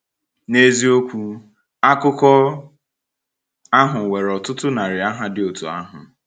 N’eziokwu, akụkọ ahụ nwere ọtụtụ narị aha dị otú ahụ.